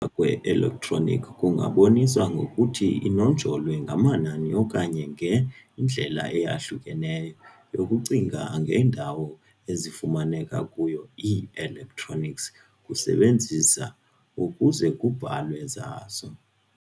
kwe-electronic kungaboniswa ngokuthi inonjolwe ngamanani okanye ngendlela eyahlukileyo yokucinga ngendawo ezifumaneka kuyo ii-electronics kuebenzisa ukuze kubhalwe zazo.